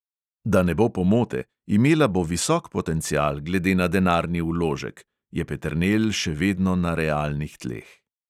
"Da ne bo pomote, imela bo visok potencial glede na denarni vložek," je peternelj še vedno na realnih tleh.